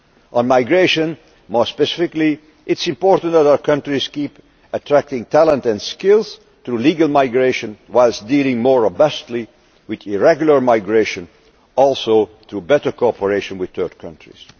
On migration more specifically, it is important that our countries keep attracting talent and skills through legal migration, whilst dealing more robustly with irregular migration, notably through better cooperation with third countries.